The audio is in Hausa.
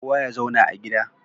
Kowa ya zauna a gida